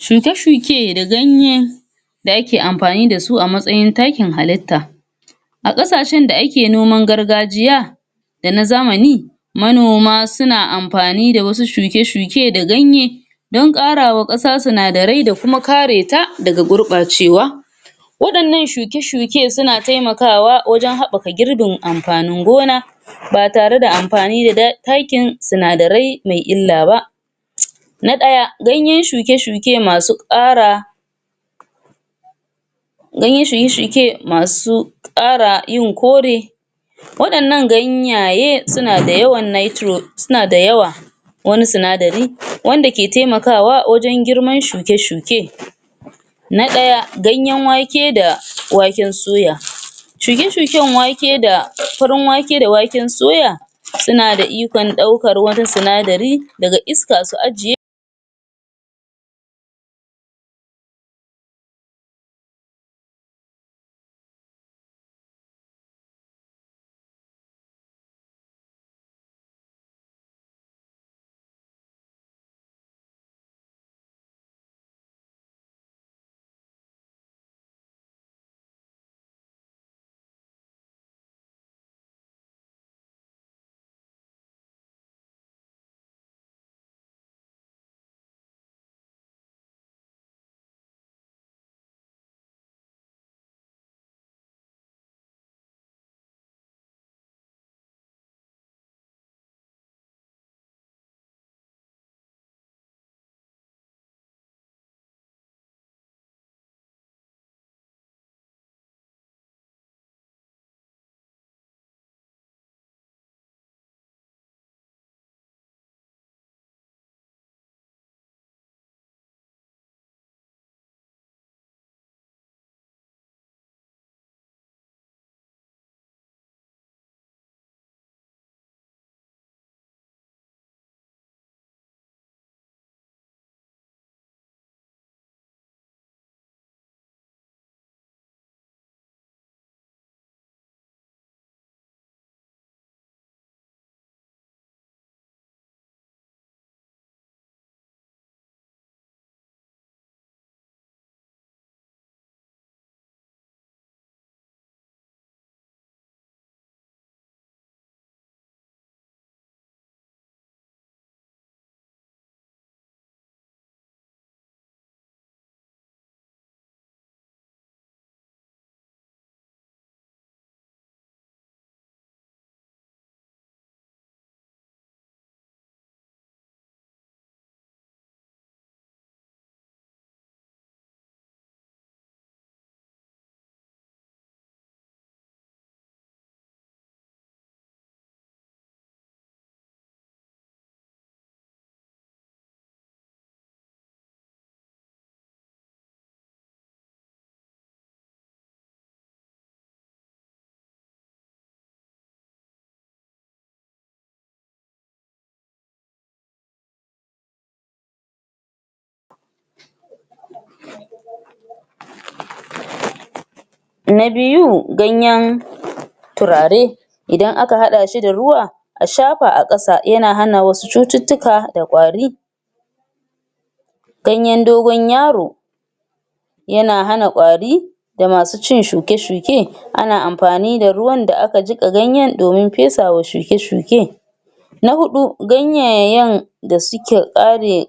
Shuke-shuke da ganyen da ake amfani da su matsayin takin halitta a ƙasashen da ake noman gargajiya da na zamani manona suna amfani da wasu shuke-shuke da ganye don ƙarawa ƙasar sinadarai da kuma kareta daga gurɓacewa waɗannan shuke-shuke suna taimakawa wajen haɓaka gorbin amfanin gona ba tare da amfani da da takin sinadarai me illa ba? na ɗaya ganyen shuke-shuke masu ƙara ganyen shuke-shuke masu yin kore waɗannan ganyaye suna da yawan Nitro suna da yawa wani sinadari wanda ke taimakawa wajen girman shuke-shuke, na ɗaya: ganyen wake da waken suya shuke-shuken wake da farin wake da waken suya suna da ikon ɗaukar wani sinadari daga iska su ajiye?? na biyu, ganyen turare idan aka haɗa shi da ruwa a shafa a ƙasa yana hana wasu cututtuka da kwari ganyen dogon yaro yana hana kwari da masu cin shuke-shuke ana amfani da ruwan da aka jiƙa ganyen domin fesawa shuke-shuke, na huɗu, ganyayen da suke tsare??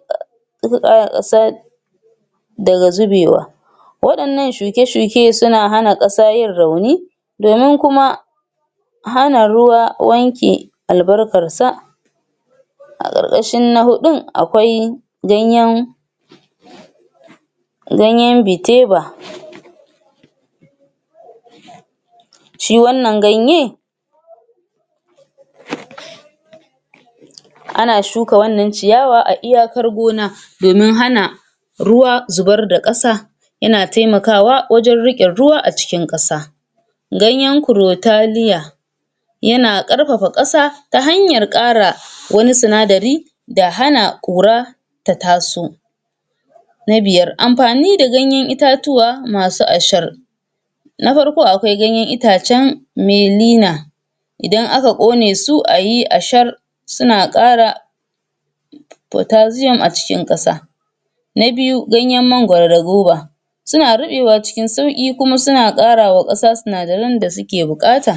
daga zubewa waɗannan shuke-shuke suna hana ƙasa yin rauni domin kuma hana ruwa wanke albarkarsa, a ƙarƙashin na huɗun akwai ganyen ganyen biteba shi wannan ganye? ana shuka wannan ciyawa a iyakar gona domin hana ruwa zubar da ƙasa yana taimkawa wajen raƙe ruwa a jikin ƙasa ganyen Crotalaria yana ƙarfafa ƙasa ta hanyar ƙara wani sinadari da hana ƙora ta taso, na biyar amfani da ganyen itatuwa masu asahar, na farko akwai itacen Melina idan aka ƙone su ayi ashar suna ƙara Cotasiom a cikin ƙasa na biyu, ganyen mankwaro da goba suna ɗaɗawa cikin sauƙi kuma suna ƙarawa ƙasa sinadaran da suke buƙata???